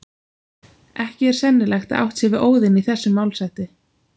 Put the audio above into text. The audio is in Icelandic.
Ekki er sennilegt að átt sé við Óðin í þessum málshætti.